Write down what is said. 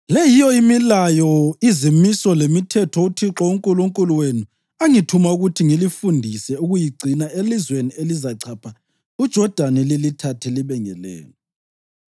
“Le yiyo imilayo, izimiso lemithetho uThixo uNkulunkulu wenu angithuma ukuthi ngilifundise ukuyigcina elizweni elizachapha uJodani lilithathe libe ngelenu,